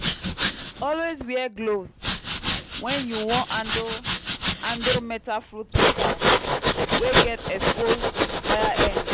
always wear gloves when you wan handle handle metal fruit pika wey get exposed wire end.